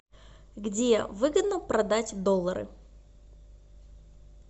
где выгодно продать доллары